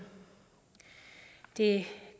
det